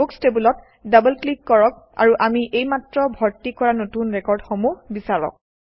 books টেবুলত double click কৰক আৰু আমি এইমাত্ৰ ভৰ্তি কৰা নতুন ৰেকৰ্ডসমূহ বিচাৰক